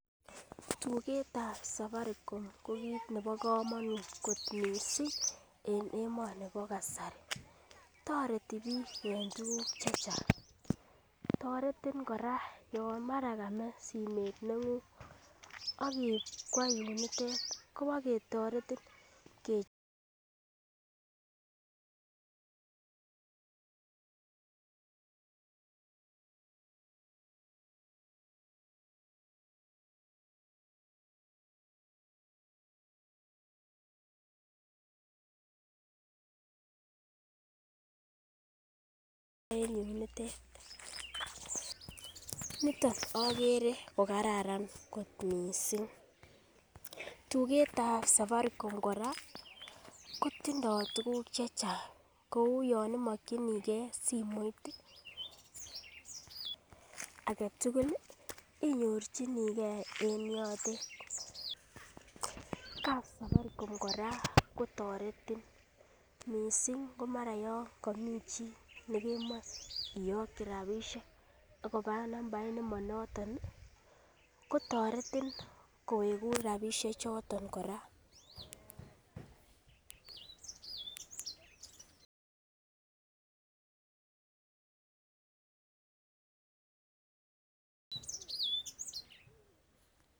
Tugetab safaricom ko kit nebo komonut kot missing en emoni bo kasari toreti biik en tuguk chechang toretin kora yon mara kamee simet neng'ung ak iib kwo yunitet kobaketoretin kechobun en yunitet niton okere kokararan kot missing tugetab safaricom kora kotindoo tuguk chechang kou yan imokyinigee simoit aketugul inyorchigee en yotet. Kapsafaricom kora kotoretin missing ngo mara komii chii nekemoe iyokyi rapisiek ak koba nambait nemonoton ih kotoretin kowekun rapisiek choton kora